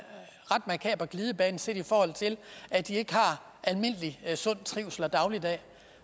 ret makaber glidebane set i forhold til at de ikke har almindelig sund trivsel og dagligdag